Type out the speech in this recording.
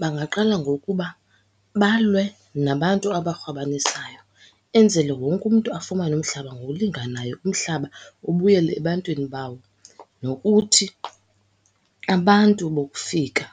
Bangaqala ngokuba balwe nabantu abakhwabanisayo, enzele wonke umntu afumane umhlaba ngokulinganayo, umhlaba ubuyele ebantwini bawo. Nokuthi abantu bokufika